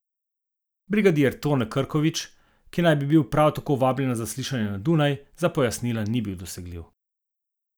Brigadir Tone Krkovič, ki naj bi bil prav tako vabljen na zaslišanje na Dunaj, za pojasnila ni bil dosegljiv.